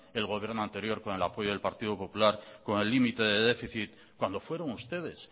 el gobierno anterior con el apoyo del partido popular con el límite de déficit cuando fueron ustedes